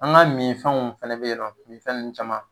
An ka mi fɛnw fɛnɛ be yen nɔ, mi fɛn nunnu caman